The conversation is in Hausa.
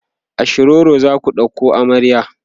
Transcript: a shiroro zaku ɗauko amarya?